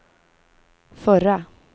förra